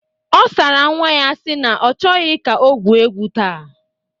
Ọ sara nwa ya na ọ chọghọ ka o gwuo egwu taa.